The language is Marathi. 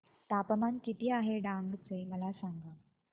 तापमान किती आहे डांग चे मला सांगा